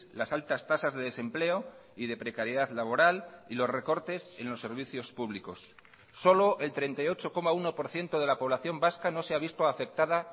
las altas tasas de desempleo y de precariedad laboral y los recortes en los servicios públicos solo el treinta y ocho coma uno por ciento de la población vasca no se ha visto afectada